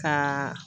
Ka